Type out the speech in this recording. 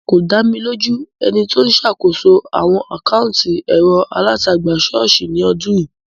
Kò dá mi lójú ẹni tí ó ń ṣàkóso àwọn àkátì ẹ̀rọ-alátagbà ṣọ́ọ̀ṣì ní ọdún yìí.